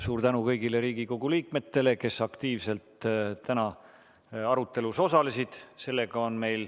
Suur tänu kõigile Riigikogu liikmetele, kes aktiivselt täna arutelus osalesid!